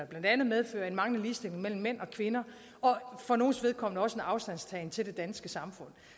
blandt andet medfører en manglende ligestilling mellem mænd og kvinder og for nogles vedkommende også en afstandtagen til det danske samfund